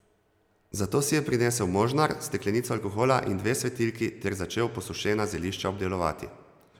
Zato si je prinesel možnar, steklenico alkohola in dve svetilki ter začel posušena zelišča obdelovati.